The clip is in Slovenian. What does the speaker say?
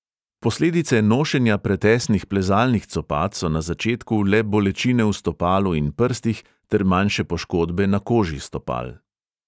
Posledice nošenja pretesnih plezalnih copat so na začetku le bolečine v stopalu in prstih ter manjše poškodbe na koži stopal.